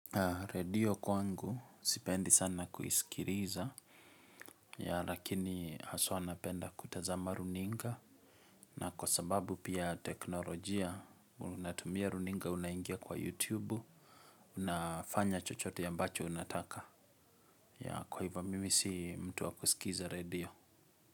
Redio kwangu sipendi sana kuisikiliza ya lakini haswa napenda kutazama runinga na kwa sababu pia teknolojia unatumia runinga unaingia kwa youtube unafanya chochote ambacho unataka ya kwa hivyo mimi si mtu wa kusikiza redio.